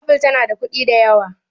apple tana da kuɗi da yawa